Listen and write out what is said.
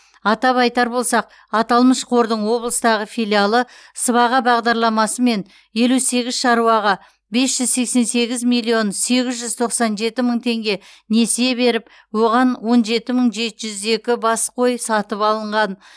атап айтар болсақ аталмыш қордың облыстағы филиалы сыбаға бағдарламасымен елу сегіз шаруаға бес жүз сексен сегіз миллион сегіз жүз тоқсан жеті мың теңге несие беріп оған он жеті мың жеті жүз екі бас қой сатып алынған